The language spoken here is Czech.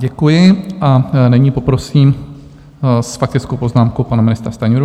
Děkuji, a nyní poprosím s faktickou poznámkou pana ministra Stanjuru.